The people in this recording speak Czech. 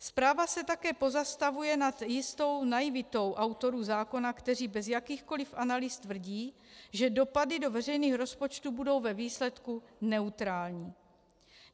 Zpráva se také pozastavuje nad jistou naivitou autorů zákona, kteří bez jakýchkoli analýz tvrdí, že dopady do veřejných rozpočtů budou ve výsledku neutrální.